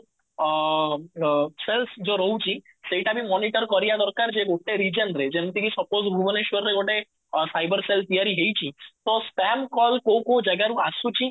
ଅ cells ଯୋଉ ରହୁଛି, ସେଇଟା ବି ମନିଟର କରିବା ଦରକାର ଯେ ଗୋଟେ reason ରେ ଯେମିତି କି suppose ଭୁବନେଶ୍ୱରରେ ଗୋଟେ ସାଇବର cell ତିଆରି ହେଇଚି ତ spam କଲ କୋଉ କୋଉ ଜାଗା ରୁ ଆସୁଛି